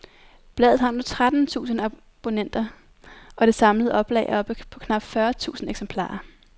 Bladet har nu tretten tusinde abonnenter, og det samlede oplag er oppe på knap fyrre tusinde eksemplarer.